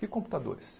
Que computadores?